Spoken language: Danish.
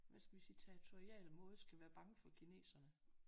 Hvad skal vi sige territorial måde skal være bange for kineserne